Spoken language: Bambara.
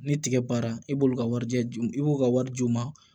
Ni tigɛ baara i b'olu ka warijɛ d'u ma i b'u ka wari d'u ma